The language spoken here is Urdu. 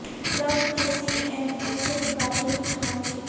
ٹرمپ نے سی این این سے مقابلے کی ٹھان لی